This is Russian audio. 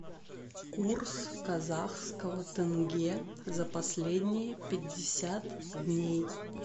курс казахского тенге за последние пятьдесят дней